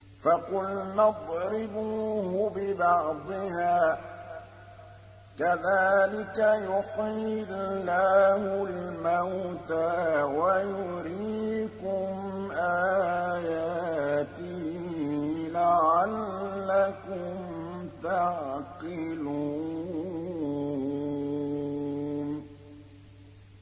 فَقُلْنَا اضْرِبُوهُ بِبَعْضِهَا ۚ كَذَٰلِكَ يُحْيِي اللَّهُ الْمَوْتَىٰ وَيُرِيكُمْ آيَاتِهِ لَعَلَّكُمْ تَعْقِلُونَ